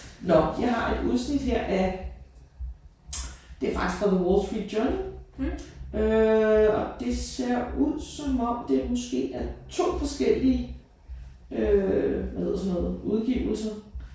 Nåh jeg har et udsnit her af det er faktisk fra The Wall Street Journal øh og det ser ud som om det måske er 2 forskellige øh hvad hedder sådan noget udgivelser